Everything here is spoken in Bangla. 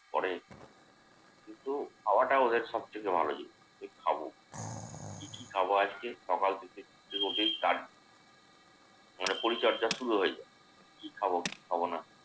করে কিন্ত খাওয়াটা ওদের সবথেকে ভালো জিনিস। কি খাবো, কি কি খাবো আজকে? সকাল থেকে শুরু হতেই start মানে পরিচর্যা শুরু হয়ে যায়। কি খাবো কি খাবো না।